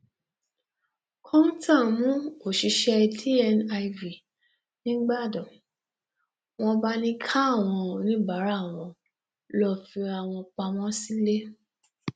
kọńtà mú òṣìṣẹ dniv nígbàdàn wọn bá ní káwọn oníbàárà wọn lọọ fira wọn pamọ sílẹ